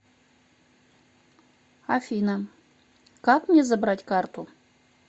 афина как мне забрать карту